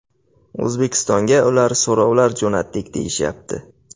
O‘zbekistonga ular so‘rovlar jo‘natdik deyishyapti.